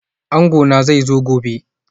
Angona zai zo gobe